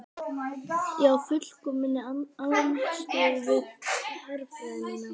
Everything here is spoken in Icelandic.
Já í fullkominni andstöðu við herfræði mína.